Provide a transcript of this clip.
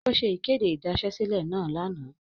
O ṣe ikede idasesile naa lana.